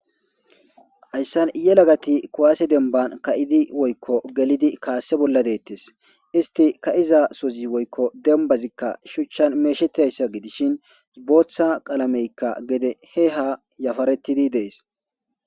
hayssan yelagati kuwaase demban ka7idi woykko gelidi kaasse bolla deettes isti ka7iza sozi woykko dembazikka shuchchan meeshetayssa gidishin booththa qalameykka gede he ha yafarettidi dees